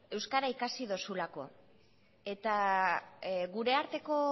euskara ikasi dozulako eta gure arteko